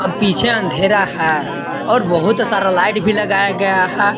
पीछे अंधेरा है और बहुत सारा लाइट भी लगाया गया है।